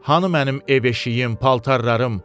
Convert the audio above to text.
Hanı mənim ev əşiyim, paltarlarım?